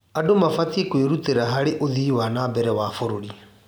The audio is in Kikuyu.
Andũ mabatiĩ kwĩrutĩra harĩ ũthii wa na mbere wa bũrũri.